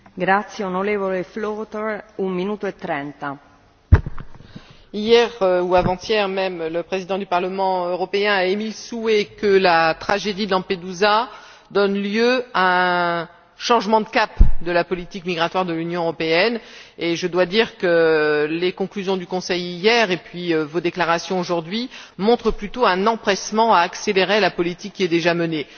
Madame la Présidente, hier ou avant hier même, le Président du Parlement européen a émis le souhait que la tragédie de Lampedusa donne lieu à un changement de cap de la politique migratoire de l'Union européenne, et je dois dire que les conclusions du Conseil hier puis vos déclarations aujourd'hui montrent plutôt un empressement à accélérer la politique qui est déjà menée.